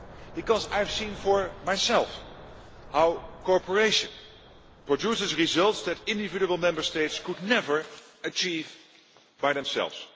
Because I have seen for myself how cooperation produces results that individual Member States could never achieve by themselves.